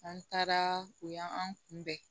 An taara o y'an kunbɛn